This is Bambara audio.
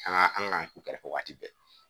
An ka an ka u kɛrɛfɛ wagati bɛɛ